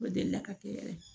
O delila ka kɛ yɛrɛ